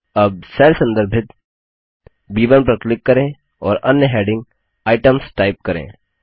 अब सेल संदर्भित ब1 पर क्लिक करें और अन्य हैडिंग आईटीईएमएस टाइप करें